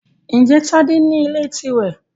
Ǹjẹ́ Tádé ní ilé tirẹ?